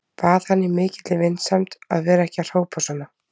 Bað hann í mikilli vinsemd að vera ekki að hrópa svona.